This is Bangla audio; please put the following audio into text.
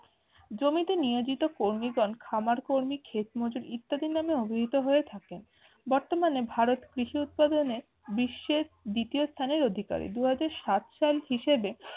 জমিতে নিয়োজিত কর্মীগণ খামার কর্মী ক্ষেতমজুর ইত্যাদি নামে অভিহিত হয়ে থাকে বর্তমানে ভারত কৃষি উৎপাদনে বিশ্বের দ্বিতীয় স্থানের অধিকারী দু হাজার সাত সাল হিসাবে